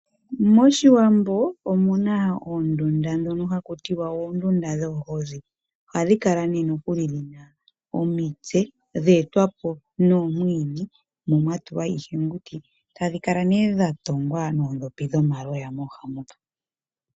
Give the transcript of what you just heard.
MOshiwambo omu na oondunda ndhono haku ti wa oondunda dhoohozi. Ohadhi kala dhi na omitse dhe etwa po noomwiidhi mo mwa tulwa iihenguti. Tadhi kala ihe dha tungwa noondhopi dhomaloya mooha moka.